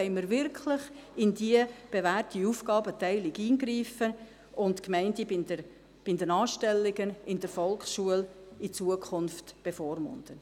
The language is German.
Wollen wir wirklich in die bewährte Aufgabenteilung eingreifen und die Gemeinden bei den Anstellungen in der Volksschule in Zukunft bevormunden?